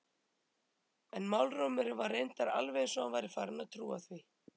En málrómurinn var reyndar alveg eins og hann væri farinn að trúa því.